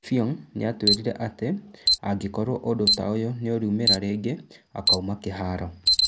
Effiong nĩatwĩrire atĩ, angĩkorwo ũndũ taũyũ nĩũraũmĩra rĩngĩ, akauma kĩharo